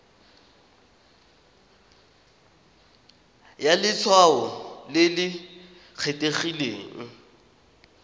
ya letshwao le le kgethegileng